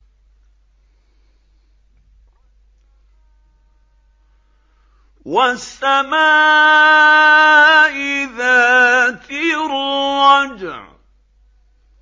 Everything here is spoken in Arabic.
وَالسَّمَاءِ ذَاتِ الرَّجْعِ